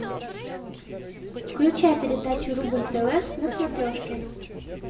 включай передачу рубль тв на смотрешке